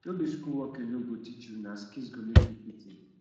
no be school work alone go teach you na skills go make you fit in